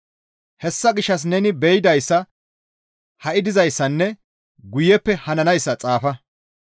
Hessa gishshas neni be7idayssa ha7i dizayssanne guyeppe hananayssa xaafa.